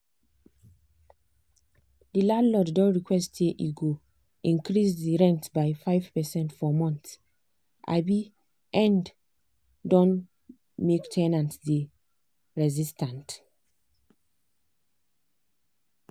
the landlord don request say e go increase the the rent by 5 percent for month um end don make ten ants dey resistant.